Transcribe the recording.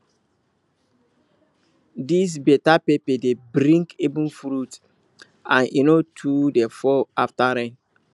this better pepper dey bring even fruit and e no too dey fall after rain